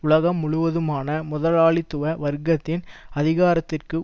உலகம் முழுவதுமான முதலாளித்துவ வர்க்கத்தின் அதிகாரத்திற்கு